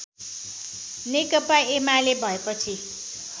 नेकपा एमाले भएपछि